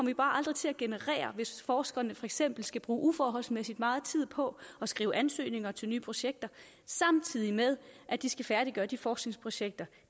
vi bare aldrig til at generere hvis forskerne for eksempel skal bruge uforholdsmæssig meget tid på at skrive ansøgninger til nye projekter samtidig med at de skal færdiggøre de forskningsprojekter